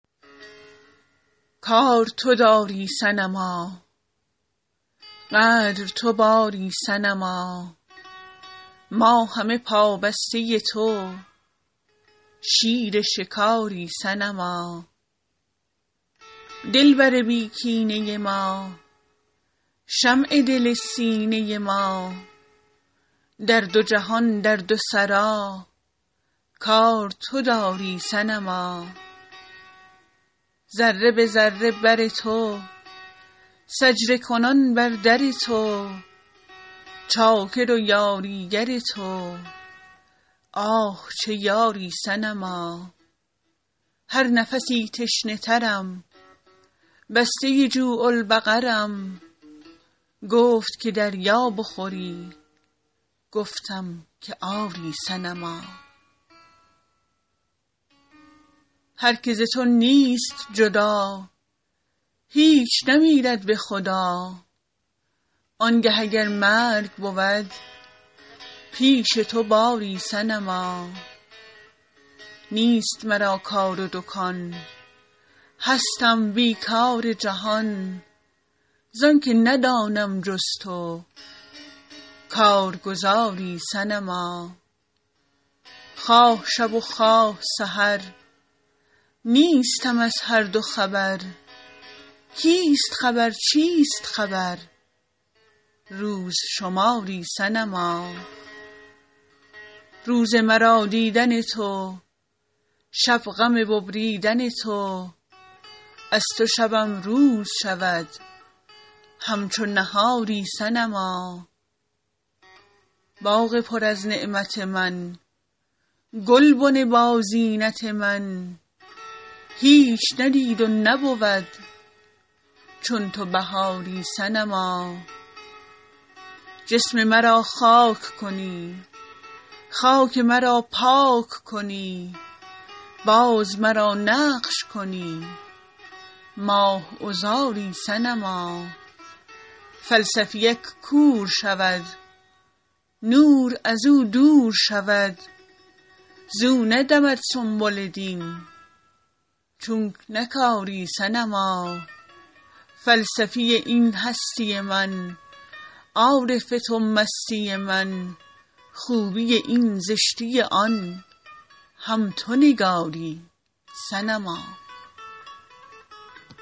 کار تو داری صنما قدر تو باری صنما ما همه پابسته تو شیر شکاری صنما دلبر بی کینه ما شمع دل سینه ما در دو جهان در دو سرا کار تو داری صنما ذره به ذره بر تو سجده کنان بر در تو چاکر و یاریگر تو آه چه یاری صنما هر نفسی تشنه ترم بسته جوع البقرم گفت که دریا بخوری گفتم که آری صنما هر کی ز تو نیست جدا هیچ نمیرد به خدا آنگه اگر مرگ بود پیش تو باری صنما نیست مرا کار و دکان هستم بی کار جهان زان که ندانم جز تو کارگزاری صنما خواه شب و خواه سحر نیستم از هر دو خبر کیست خبر چیست خبر روز شماری صنما روز مرا دیدن تو شب غم ببریدن تو از تو شبم روز شود همچو نهاری صنما باغ پر از نعمت من گلبن بازینت من هیچ ندید و نبود چون تو بهاری صنما جسم مرا خاک کنی خاک مرا پاک کنی باز مرا نقش کنی ماه عذاری صنما فلسفی ک کور شود نور از او دور شود زو ندمد سنبل دین چونک نکاری صنما فلسفی این هستی من عارف تو مستی من خوبی این زشتی آن هم تو نگاری صنما